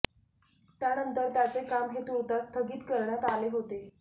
त्यानंतर त्याचे काम हे तूर्तास स्थगित करण्यात आले होते